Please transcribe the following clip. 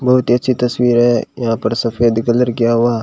बहुत ही अच्छी तस्वीर है यहां पर सफेद कलर किया हुआ।